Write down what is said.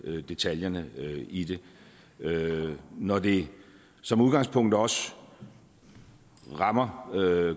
detaljerne i det når det som udgangspunkt også rammer